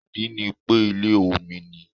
Ìdí ni pé ilẹ̀ omi ni